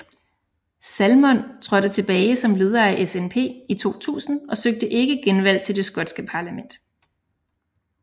Salmond trådte tilbage som leder af SNP i 2000 og søgte ikke genvalg til det skotske parlament